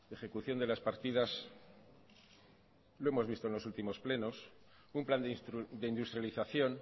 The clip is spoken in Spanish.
ejecución de las partidas lo hemos visto en los últimos plenos un plan de industrialización